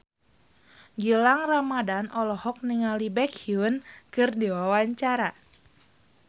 Gilang Ramadan olohok ningali Baekhyun keur diwawancara